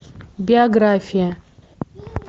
биография